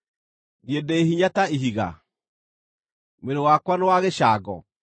Niĩ ndĩ hinya ta ihiga? Mwĩrĩ wakwa nĩ wa gĩcango?